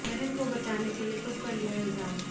बहन को बचाने के लिए खुद पर लिया इल्जाम